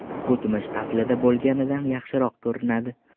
O‘tmish aslida bo‘lganidan yaxshiroq ko‘rinadi”.